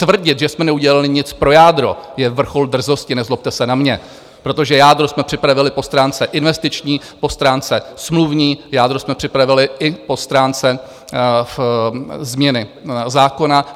Tvrdit, že jsme neudělali nic pro jádro, je vrchol drzosti, nezlobte se na mě, protože jádro jsme připravili po stránce investiční, po stránce smluvní, jádro jsme připravili i po stránce změny zákona.